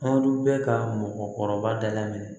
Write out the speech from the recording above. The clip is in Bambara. Anw dun bɛ ka mɔgɔkɔrɔba da la minɛ